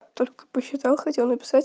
только посчитал хотел написать